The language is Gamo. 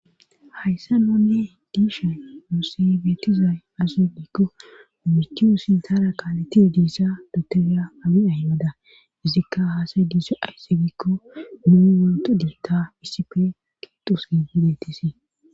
hayssa noonne diishay muosebeetizay asu likko umichuu sintara qaaleti diissa dutera abi ahmada izikka haasay diissa aysse bikko mu wolto dilta isipe qixusni yidetisie